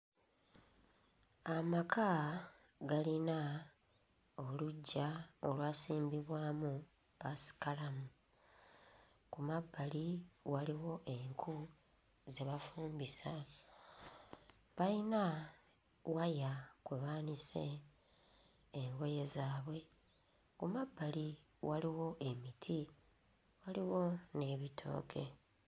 Amaka galina oluggya olwasimbibwamu ppaasikalamu. Ku mabbali waliwo enku ze bafumbisa. Bayina waya kwe baanise engoye zaabwe. Ku mabbali waliwo emiti, waliwo n'ebitooke.